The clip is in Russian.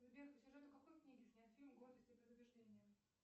сбер по сюжету какой книги снят фильм гордость и предубеждение